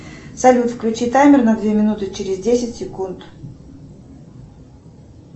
салют включи таймер на две минуты через десять секунд